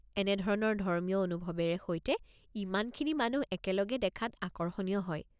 এনেধৰণৰ ধৰ্মীয় অনুভৱেৰে সৈতে ইমানখিনি মানুহ একেলগে দেখাত আকৰ্ষণীয় হয়।